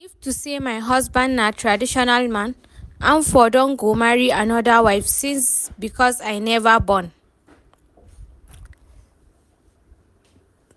If to say my husband na traditional man, im for don go marry another wife since because I never born